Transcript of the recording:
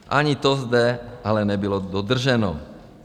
Ani to zde ale nebylo dodrženo.